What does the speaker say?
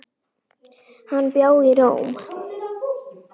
Hann bjó í Róm.